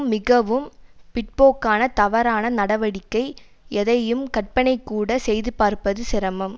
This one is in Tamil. மிகவும் பிற்போக்கான தவறான நடவடிக்கை எதையும் கற்பனை கூட செய்து பார்ப்பது சிரமம்